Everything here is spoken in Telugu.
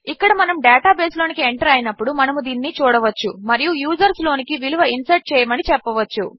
ఇక్కడ మనము డేటాబేస్లోనికి ఎంటర్ అయినప్పుడు మనము దీనిని చూడవచ్చు మరియు యూజర్స్ లోనికి విలువ ఇన్సర్ట్ చేయమని చెప్పవచ్చు